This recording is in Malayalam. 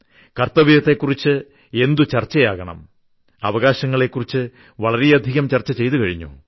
കർത്തവ്യങ്ങളെ കുറിച്ച് എന്തു ചർച്ചയാകണം അവകാശങ്ങളെക്കുറിച്ച് വളരെയധികം ചർച്ച ചെയ്തുകഴിഞ്ഞു